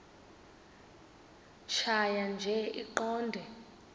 tjhaya nje iqondee